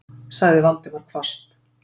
sagði Valdimar hvasst.